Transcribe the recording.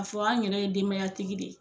A fɔ an yɛrɛ ye denbaya tigi de ye .